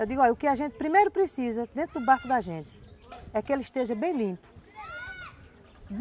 Eu digo, olha, o que a gente primeiro precisa dentro do barco da gente é que ele esteja bem limpo.